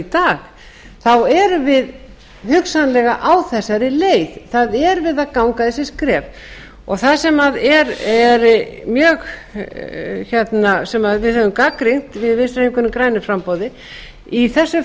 dag þá erum við hugsanlega á þessari leið það er verið að ganga þessi skref það sem við höfum gagnrýnt við í vinstri hreyfingunni grænu framboði i þessu